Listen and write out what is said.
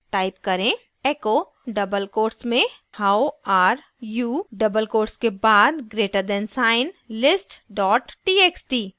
type करें: echo double quotes में how are you double quotes के बाद greater than sign list txt